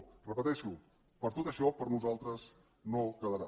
ho repeteixo per tot això per nosaltres no quedarà